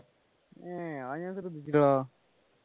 ഏർ അത് ഞാൻ ശ്രദ്ധിച്ചില്ലടാ